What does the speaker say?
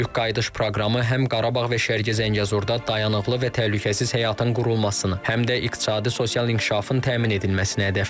Böyük qayıdış proqramı həm Qarabağ və Şərqi Zəngəzurda dayanıqlı və təhlükəsiz həyatın qurulmasını, həm də iqtisadi, sosial inkişafın təmin edilməsini hədəfləyir.